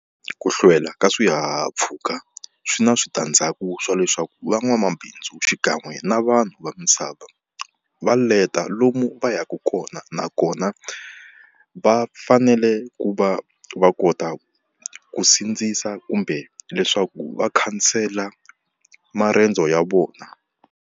Ku hlwela ka swihahampfhuka swi na switandzhaku swa leswaku van'wamabindzu xikan'we na vanhu va misava va leta lomu va yaka kona, na kona va fanele ku va va kota ku sindzisa kumbe leswaku va khansela marendzo ya vona.